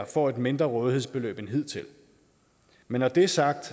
får et mindre rådighedsbeløb end hidtil men når det er sagt